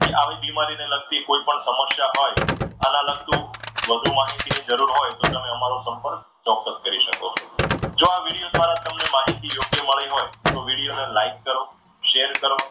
કે આવી બીમારી ને લગતી કોઈ પણ સમસ્યા હોય આના લગતી વધુ માહિતી ની જરૂર હોય તો, તમે અમારો સંપર્ક ચોક્કસ કરી શકો છો. જો આ વિડીયો દ્વારા તમને માહિતી યોગ્ય મળે તો વીડિયોને like કરો. share કરો